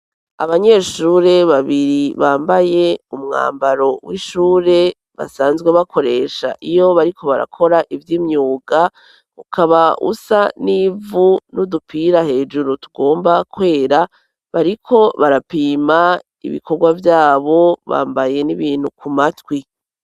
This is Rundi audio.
Abanyeshure babiri, bambaye umwambaro w'ishure, basanzwe bakoresha iyo bariko barakora ivy’imyuga, ukaba usa n'ivu, n'udupira hejuru tugomba kwera, bariko barapima ibikorwa vyabo bambaye n'ibintu ku matwi.